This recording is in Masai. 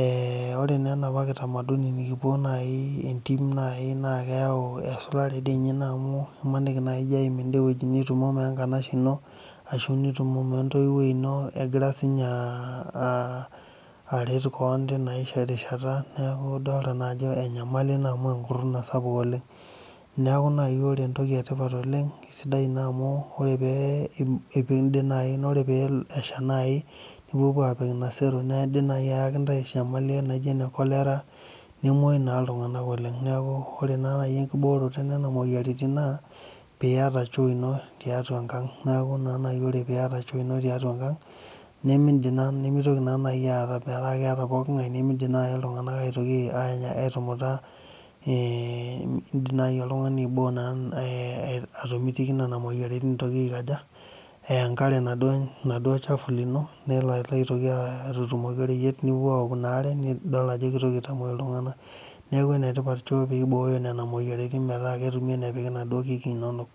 ee ore naaa enapa kitamaduni naa entim naaji naa keyau esulare doi ninye ina amu imaniki naaji ijio aim ende weueji nitumomo wenkanashe ino ashu nitumomo wentoiwuoi ino egira sii ninye aret kewon ake tinarishata neeku idolita ajo enyamali ina amu enkuruna sapuk oleng neeeku naaji ore entoki etipat oleng eisidai amu ore pee peindip naaji naa ore pee esha naaji nipuo puo aapik ina sero naa indiim ayaki intae enyamali naijio cholera nemuyu naa iltung'anak oleng neeku ore naaji enkibooroto enena mountain naa peiyata choo ino tiatua enkang neeku naaji lre peiyata choo tiatua enkang nimintoki metaa keeta pookin ng'ae nimintoki naaji aitoki aitumutaa indiim naaji oltung'ani aiboo atomitiki nena moyiaritin eitoki aikaja eya enkare oladuo chafu lino nelo aitoki atutumoki oreyiet nipuo pup aaok ina aare nimitoki aitamuoi iltung'anak neeku enetipat choo peibooyo nena moyiaritin metaa ketumi enepiki inaduo kik inonok